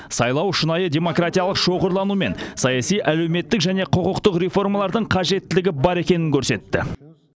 сайлау шынайы демократиялық шоғырлану мен саяси әлеуметтік және құқықтық реформалардың қажеттілігі бар екенін көрсетті